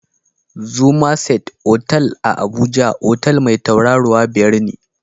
Summerset otal a Abuja, otal mai tauraruwa biyar ne